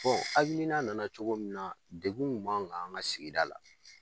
hakilina nana cogo min na dekun tun b'an kan an ka sigida la